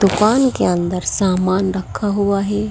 दुकान के अंदर सामान रखा हुआ है।